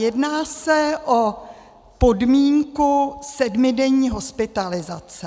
Jedná se o podmínku sedmidenní hospitalizace.